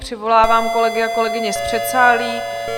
Přivolám kolegy a kolegyně z předsálí.